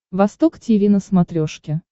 восток тиви на смотрешке